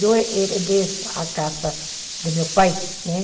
Eu herdei a casa do meu pai, né?